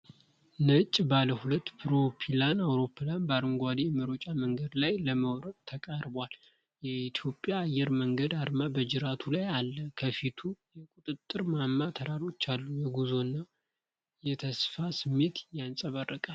ነጭ ባለ ሁለት ፕሮፔላር አውሮፕላን በአረንጓዴው የመሮጫ መንገድ ላይ ለመውረድ ተቃርቧል። የኢትዮጵያ አየር መንገድ አርማ በጅራቱ ላይ አለ፣ ከፊቱ የቁጥጥር ማማና ተራሮች አሉ። የጉዞና የተስፋ ስሜት ይንጸባረቃል።